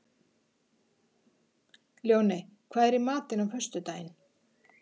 Ljóney, hvað er í matinn á föstudaginn?